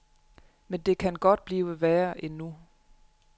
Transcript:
Men det kan godt blive værre endnu.